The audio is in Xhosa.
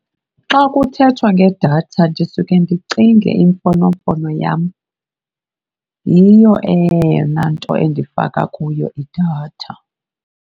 Xa kuthethwa ngedatha ndisuke ndicinge imfonomfono yam. Yiyo eyona nto endifaka kuyo idatha.